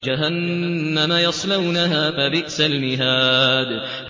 جَهَنَّمَ يَصْلَوْنَهَا فَبِئْسَ الْمِهَادُ